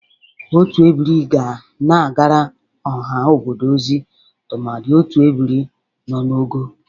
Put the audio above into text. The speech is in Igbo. Otu ebiri ga na-agara ọha obodo ozi tụmadị otu ebiri nọ n'ogo.